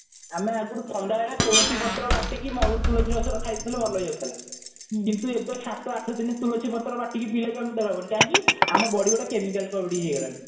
ଆମେ ଆଗରୁ ଥଣ୍ଡା ହେଲେ ତୁଲସୀ ପତ୍ର ବାଟିକି ମହୁ ଆଉ ତୁଲସୀ ପତ୍ର ଖାଇଦେଉଥିଲେ ଭଲ ହେଇଯାଉଥିଲା କିନ୍ତୁ ଏବେ ସତ ଆଠ ଦିନ ତୁଲସୀ ପତ୍ର ବାଟିକି ପିଇଲେ ବି ଆମର ଜର ଭଲ ହେବ ନହିଁ କାହିଁକି ଆମ body ଗୋଟେ chemical ହେଇଗଲାଣି